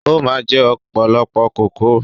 O máa ń jẹ ọ̀pọ̀lọpọ̀ kókò